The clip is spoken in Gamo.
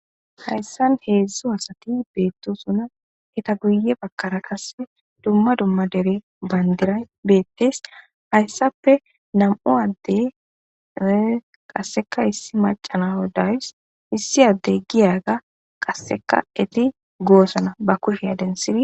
hayssan heedzdzo asati beettosuna eta guye bakkara qase dumma dumma dere bandiray beettes hayssappe nam7u addey qasseka issi macana hodays issi addey giyaga qasseka eti goosana ba kushe densiri